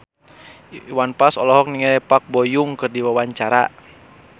Iwan Fals olohok ningali Park Bo Yung keur diwawancara